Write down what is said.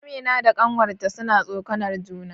Amina da ƙanwarta suna tsokanar juna